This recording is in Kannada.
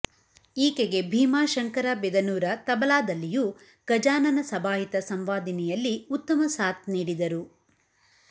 ಈಕೆಗೆ ಭೀಮಾಶಂಕರ ಬಿದನೂರ ತಬಲಾದಲ್ಲಿಯೂ ಗಜಾನನ ಸಭಾಹಿತ ಸಂವಾದಿನಿಯಲ್ಲಿ ಉತ್ತಮ ಸಾಥ್ ನೀಡಿದರು